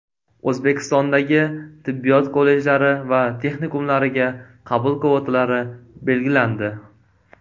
O‘zbekistondagi tibbiyot kollejlari va texnikumlariga qabul kvotalari belgilandi.